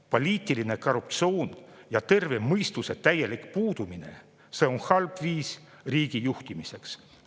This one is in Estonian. Poliitiline korruptsioon ja terve mõistuse täielik puudumine – see on halb viis riigi juhtimiseks.